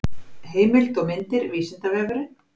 heimild og myndir vísindavefurinn